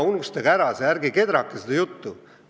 Unustage see ära, ärge kedrake seda juttu!